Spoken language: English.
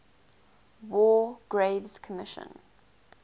war graves commission